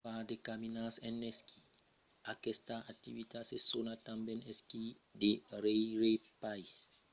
far de caminadas en esquí: aquesta activitat se sona tanben esquí de rèirepaís esquí de passejada o excursion en esquís